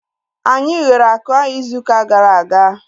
Anyị ghere akụ ahu izu ụka gara aga